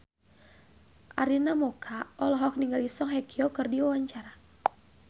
Arina Mocca olohok ningali Song Hye Kyo keur diwawancara